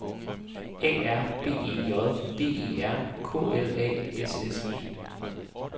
A R B E J D E R K L A S S E